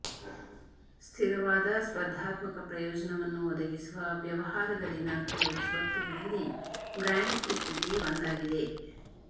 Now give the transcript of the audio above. ಸ್ಥಿರವಾದ ಸ್ಪರ್ಧಾತ್ಮಕ ಪ್ರಯೋಜನವನ್ನು ಒದಗಿಸುವ ವ್ಯವಹಾರದಲ್ಲಿನ ಕೆಲವು ಸ್ವತ್ತುಗಳಲ್ಲಿ ಬ್ರ್ಯಾಂಡ್ ಇಕ್ವಿಟಿ ಒಂದಾಗಿದೆ